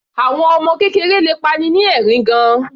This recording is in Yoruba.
Àwọn ọmọ kékeré le pa'ni ni ẹ̀rín gan-an.